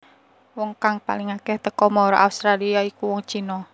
Wong kang paling akéh teka mara Australia iku wong China